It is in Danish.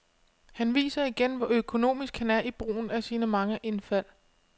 Han viser igen, hvor økonomisk han er i brugen af sine mange indfald.